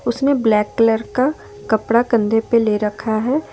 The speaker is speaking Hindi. उसने ब्लैक कलर का कपड़ा कंधे पे ले रखा है।